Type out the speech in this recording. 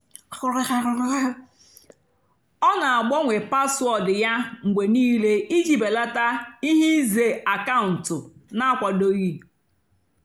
ọ́ nà-àgbànwé páswóọ̀dụ́ yá mgbe níìlé ìjì bèlátá íhé ìzè ákàụ́ntụ́ nà-ákwádòghì.